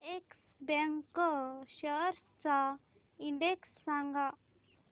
yes Bank shares चा index सांगा